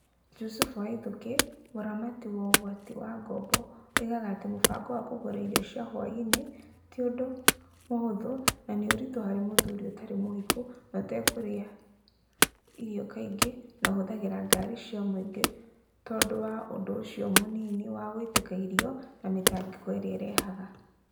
Jucufu Waithuki, mũramati wa ũgwati wa ngombo, oigaga atĩ mũbango wa kũgũra irio cia hwaĩ-inĩ ti ũndũ mũhũthũ na nĩ ũritũ harĩ mũthuri ũtarĩ mũhiku na ũtegũrĩa irio kaingĩ na ũhũthagĩra ngari cia mũingĩ tondũ wa ũndũ ũcio mũnini wa gũitĩka irio na mĩtangĩko ĩrĩa ĩrehaga.